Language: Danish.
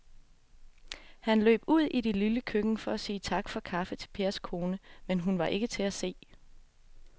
Han løb ud i det lille køkken for at sige tak for kaffe til Pers kone, men hun var ikke til at se.